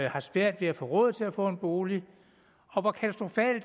har svært ved at få råd til at få en bolig og